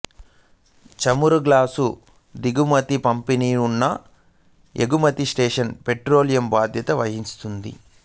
చమురు గ్యాసు దిగుమతులు పంపిణీ పునః ఎగుమతికి సేషెల్స్ పెట్రోలియం బాధ్యత వహిస్తుంది